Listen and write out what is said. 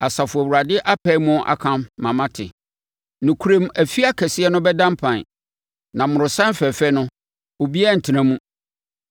Asafo Awurade apae mu aka ama mate: “Nokorɛm afie akɛseɛ no bɛda mpan, na mmorɔsan fɛfɛ no, obiara rentena mu.